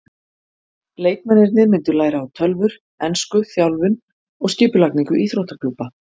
Leikmennirnir myndu læra á tölvur, ensku, þjálfun og skipulagningu íþróttaklúbba.